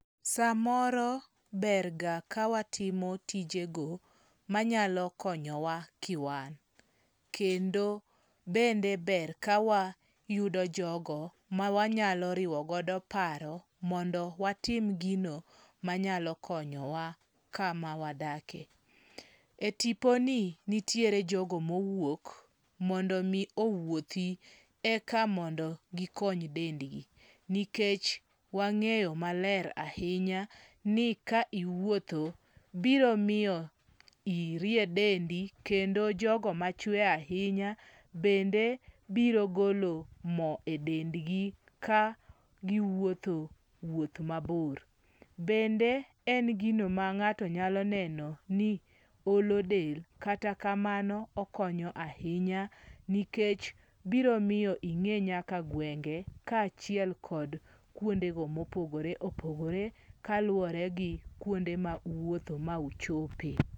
Samoro berga ka watimo tijego ma nyalo konyowa kiwan. Kendo bende ber ka wayudo jogo ma wanyalo riwogodo paro mondo watim gino manyalo konyowa kama wadakie. E tiponi, nitiere jogo mowuok mondo omi owuothi eka mondo gikony dendgi, nikech wang'eyo maler ahinya ni ka iwuotho, biro miyo irie dendi kendo jogo machwe ahinya bende biro golo mo e dendgi ka giwuotho wuoth mabor. Bende en gino ma ng'ato nyalo neno ni olo del kata kamano okonyo ahinya nikech biro miyo ing'e nyaka gwenge kaachiel kod kuondego mopogore opogore kaluwore gi kuonde ma uwuothe ma uchope.